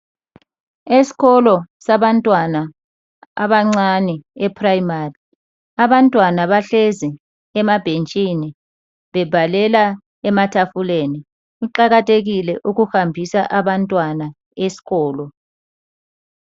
Esikolo sabantwana abancani ePrimary abantwana bahlezi emabhentshini bebhalela ematafuleni kuqakathekile ukuhambisa abantwana eskolo